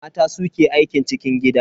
Mata su ke aikin cikin gida.